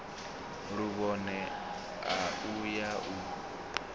luvhone a u ya u